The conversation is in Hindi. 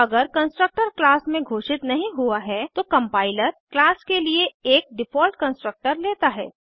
अगर कंस्ट्रक्टर क्लास में घोषित नहीं हुआ है तो कंपाइलर क्लास के लिए एक डिफ़ॉल्ट कंस्ट्रक्टर लेता है